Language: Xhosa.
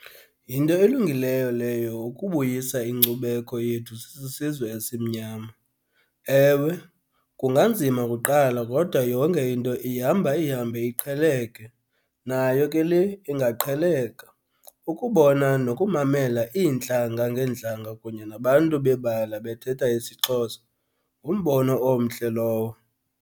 Yinto elungileyo leyo ukubuyisa inkcubeko yethu sisizwe esimnyama. Ewe, kunganzima kuqala kodwa yonke into ihamba ihambe iqheleke, nayo ke le ingaqheleka. Ukubona nokumamela iintlanga ngeentlanga kunye nabantu bebala bethetha isiXhosa ngumbono omhle lowo.